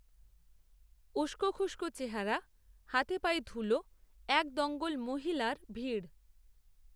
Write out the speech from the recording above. উস্কোখুস্কো চেহারা হাতেপায়ে ধুলো এক দঙ্গল মহিলার ভিড়